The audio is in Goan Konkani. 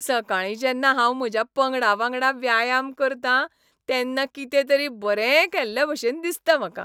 सकाळीं जेन्ना हांव म्हज्या पंगडा वांगडा व्यायाम करतां तेन्ना कितेंतरी बरें केल्लेभशेन दिसता म्हाका.